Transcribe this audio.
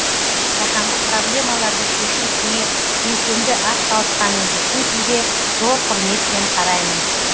жаһандық проблемаларды шешу ісіне белсенді атсалысқаныңыз үшін сізге зор құрметпен қараймын